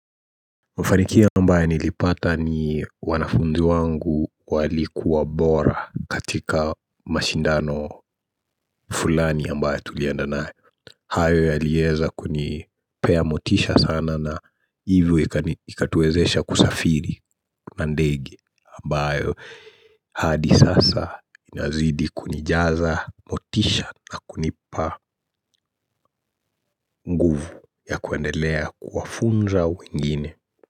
Mfanikio ambayo nilipata ni wanafunzi wangu walikuwa bora katika mashindano fulani ambayo tulienda nayo. Hayo yaliweza kunipea motisha sana na hivyo ikatuwezesha kusafiri na ndege ambayo hadi sasa inazidi kunijaza motisha na kunipa nguvu ya kuendelea kuwafunza wengine.